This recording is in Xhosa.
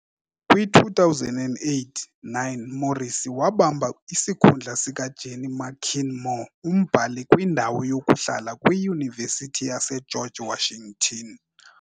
Kwi-2008-9 Morrissy wabamba isikhundla sikaJenny McKean Moore Umbhali-kwindawo yokuhlala kwiYunivesithi yaseGeorge Washington .